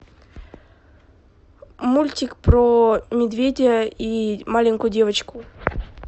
мультик про медведя и маленькую девочку